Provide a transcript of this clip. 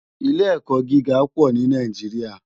Ilé èkò gigá pò ni Nàijiriá